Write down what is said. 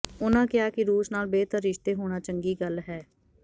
ਉਨ੍ਹਾਂ ਕਿਹਾ ਕਿ ਰੂਸ ਨਾਲ ਬਿਹਤਰ ਰਿਸ਼ਤੇ ਹੋਣਾ ਚੰਗੀ ਗੱਲ ਹੈ